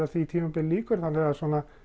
því tímabili lýkur þannig að